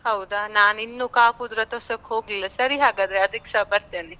ಹೌದಾ, ನಾನ್ ಇನ್ನೂ ಕಾಪುದ್ ರಥೊತ್ಸವಕ್ಕೆ ಹೋಗ್ಲಿಲ್ಲ, ಸರಿ ಹಾಗಾದ್ರೆ ಅದ್ಕೇಸ ಬರ್ತೇನೆ.